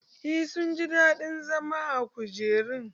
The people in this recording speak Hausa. Eh sun ji daɗin zama a kujerun.